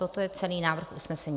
Toto je celý návrh usnesení.